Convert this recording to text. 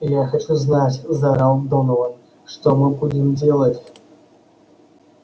я хочу знать заорал донован что мы будем делать